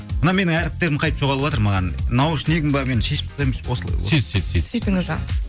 мына менің әріптерім қайтып жоғалыватыр маған наушнигім бе мен шешіп берейінші осылай